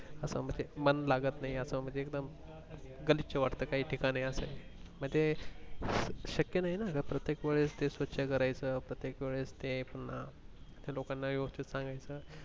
असं म्हणजे मन लागत नाही असं एकदम गलिच्छ वाट काही ठिकाणी असं म्हणजे शक्य नाही असं प्रत्येक वेळेस ते स्वछ करायच प्रत्येक वेळेस ते लोकांना वेवस्तीत सांगायचं.